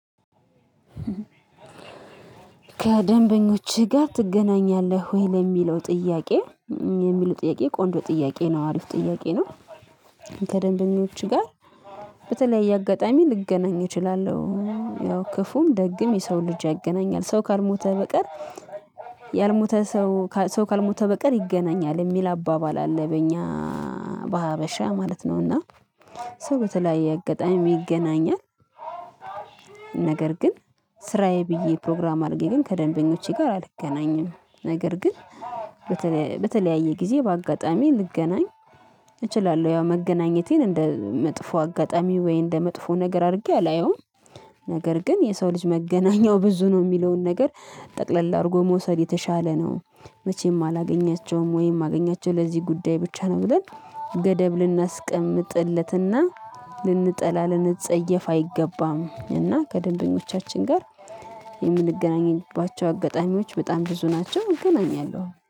ከደንበኞችህ ጋር ትገናኛለህ ወይ ለሚለው ጥያቄ የሚሉ ጥያቄ ቆንጆ ጥያቄ ነው አሪፍ ጥያቄ ነው። ከደንበኞች ጋር በተለያየ አጋጣሚ ልገናኝ እችላለሁ ያው ክፉም ደግም የሰው ልጅ ያገናኛል ሰው ካልሞተ በቀር። ያልሞተ ሰው ሰው ካልሞተ በቀር ይገናኛል የሚል አባባል አለ በእኛ በሀበሻ ማለት ነውና። ሰው በተለያየ እጋጣሚም ይገናኛል። ነገር ግን ስራዬ ብዬ ፕሮግራም አድርጌ ግን ከደንበኞቼ ጋር አልገናኝም። ነገር ግን በተለያየ ጊዜ በአጋጣሚ ልገናኝ እችላለሁ ያው መገናኘቴን እንደ መጥፎ አጋጣሚ ወይ እንደ መጥፎ ነገር አድርጌ አላየውም። ነገር ግን የሰው ልጅ መገናኛው ብዙ ነው የሚለውን ነገር ጠቅለል አድርጎ መውሰድ የተሻለ ነው። መቼም አላገኛቸውም ወይም ሚገኛቸው ለዚህ ጉዳይ ብቻ ነው ብለን ገደብ ልናስቀምጥለትና ልንጠላ ልንጸየፍ አይገባም። እና ከደንበኞቻችን ጋር የምንገናኘንባቸው አጋጣሚዎች በጣም ብዙ ናቸው እገናኛለሁ